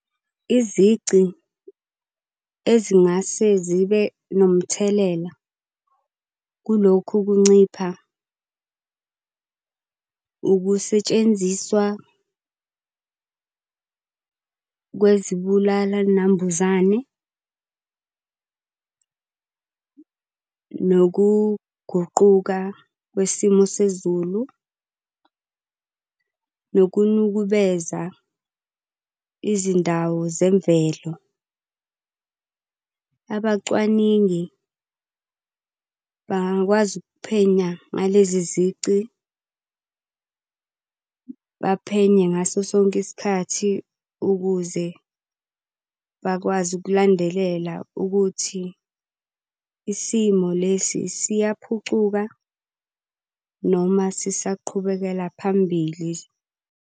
Izici ezingase zibe nomthelela kulokhu kuncipha, ukusetshenziswa kwezibulala nambuzane nokuguquka kwesimo sezulu, nokunukubeza izindawo zemvelo. Abacwaningi bangakwazi ukuphenya ngalezi zici, baphenye ngaso sonke isikhathi ukuze bakwazi ukulandelela ukuthi isimo lesi siyaphucuka noma sisaqhubekela phambili.